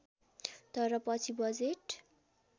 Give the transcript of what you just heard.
तर पछि बजेट